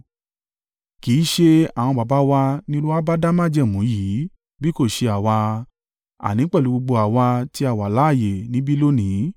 Kì í ṣe àwọn baba wa ni Olúwa bá dá májẹ̀mú yìí bí kò ṣe àwa, àní pẹ̀lú gbogbo àwa tí a wà láààyè níbí lónìí.